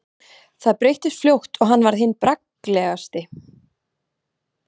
Það breyttist fljótt og hann varð hinn bragglegasti.